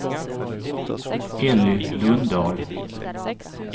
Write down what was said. Elly Lundahl